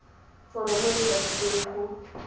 foromo e e tladitsweng go